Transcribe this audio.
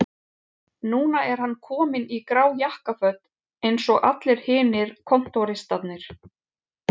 Núna er hann kominn í grá jakkaföt eins og allir hinir kontóristarnir